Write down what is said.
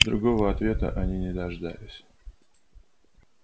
другого ответа они не дождались